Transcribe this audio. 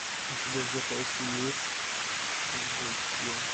у тебя в запасе есть джекил